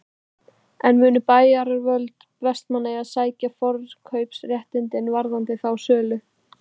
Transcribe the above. En munu bæjaryfirvöld Vestmannaeyja sækja forkaupsréttinn varðandi þá sölu?